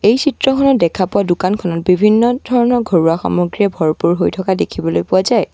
এই চিত্ৰখনত দেখা পোৱা দোকানখনত বিভিন্ন ধৰণৰ ঘৰুৱা সামগ্ৰীয়ে ভৰপূৰ হৈ থকা দেখিবলৈ পোৱা যায়।